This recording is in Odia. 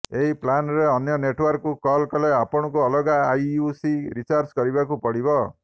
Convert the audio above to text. ଏହି ପ୍ଲାନ୍ରେ ଅନ୍ୟ ନେଟ୍ୱର୍କକୁ କଲ୍ କଲେ ଆପଣଙ୍କୁ ଅଲଗା ଆଇୟୁସି ରିଚାର୍ଜ କରିବାକୁ ପଡ଼ିବ